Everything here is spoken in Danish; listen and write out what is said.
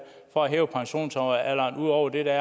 for at hæve pensionsalderen ud over det der